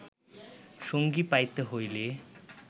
সঙ্গী পাইতে হইলে